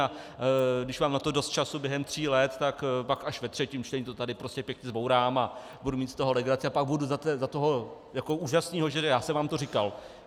A když mám na to dost času během tří let, tak pak až ve třetím čtení to tady prostě pěkně zbourám a budu mít z toho legraci a pak budu za toho jako úžasného, že já jsem vám to říkal.